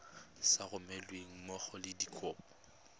sa romelweng mmogo le dikopo